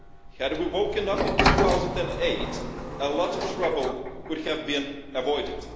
Had we woken up in 2008, a lot of trouble could have been avoided.